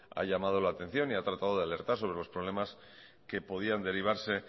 ha llamado la atención y ha tratado de alertar sobre los problemas que podían derivarse